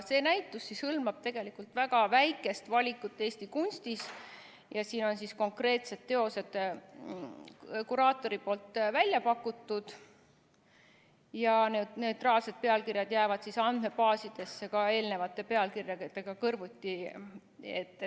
See näitus hõlmab tegelikult väga väikest valikut Eesti kunstist ja siin on konkreetsed teosed kuraatori poolt välja pakutud ning neutraalsed pealkirjad jäävad andmebaasidesse ka eelnevate pealkirjaga kõrvuti.